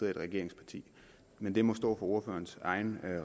i et regeringsparti men det må stå for ordførerens egen